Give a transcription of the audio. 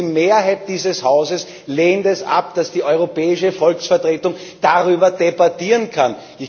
Und die Mehrheit dieses Hauses lehnt es ab, dass die europäische Volksvertretung darüber debattieren kann.